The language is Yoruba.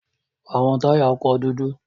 Awọn taya ọkọ dudu